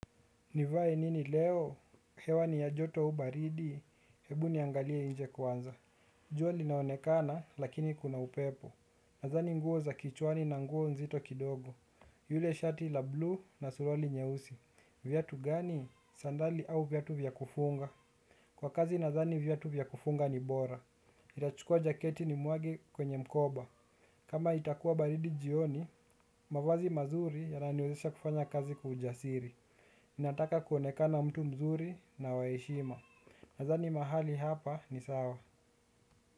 Nivae nini leo, hewa ni ya joto au baridi, hebu niangalie nje kwanza jua linaonekana lakini kuna upepo. Nathani nguo za kichwani na nguo nzito kidogo. Yule shati la blue na suruali nyeusi. Viatu gani, sandali au viatu vya kufunga. Kwa kazi nathani viatu vya kufunga ni bora nitachukua jaketi ni mwage kwenye mkoba. Kama itakuwa baridi jioni, mavazi mazuri yananiwezesha kufanya kazi kwa ujasiri ninataka kuoneka mtu mzuri na waheshima nathani mahali hapa ni sawa.